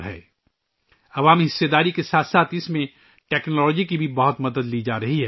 اس میں عوام کی شرکت کے ساتھ ساتھ ٹیکنالوجی کی بھی بہت مدد لی جا رہی ہے